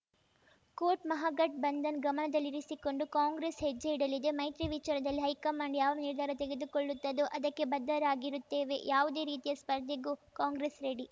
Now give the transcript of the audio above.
coat Mahagathbandhan ಗಮನದಲ್ಲಿರಿಸಿಕೊಂಡು ಕಾಂಗ್ರೆಸ್‌ ಹೆಜ್ಜೆ ಇಡಲಿದೆ ಮೈತ್ರಿ ವಿಚಾರದಲ್ಲಿ ಹೈಕಮಾಂಡ್‌ ಯಾವ ನಿರ್ಧಾರ ತೆಗೆದುಕೊಳ್ಳುತ್ತದೋ ಅದಕ್ಕೆ ಬದ್ಧರಾಗಿರುತ್ತೇವೆ ಯಾವುದೇ ರೀತಿಯ ಸ್ಪರ್ಧೆಗೂ ಕಾಂಗ್ರೆಸ್‌ ರೆಡಿ